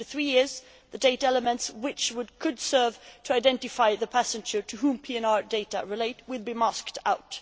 After three years the data elements which could serve to identify the passenger to whom PNR data relate will be masked out.